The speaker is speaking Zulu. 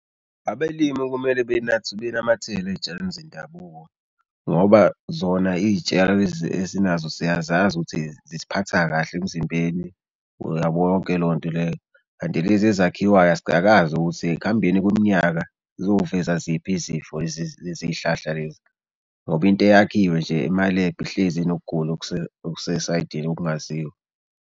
Abelimi okumele benamathela ey'tshaleni zendabuko ngoba zona iy'tshalo lezi esinazo siyazazi ukuthi zisiphatha kahle emzimbeni uyabo yonke leyo nto leyo mali. Kanti lezi ezakhiwayo asikakazi ukuthi ekuhambeni kweminyaka zizoveza ziphi izifo. Lezi lezi hlahla lezi ngoba into eyakhiwe nje emalebhu ihlezi inokugula okusesayidini okungaziwa.